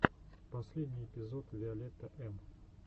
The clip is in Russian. последний эпизод виолетта эм